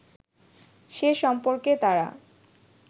সে সম্পর্কে তারা